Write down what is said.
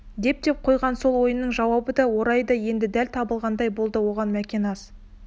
деп те қойған сол ойының жауабы да орайы да енді дәл табылғандай болды оған мәкен аз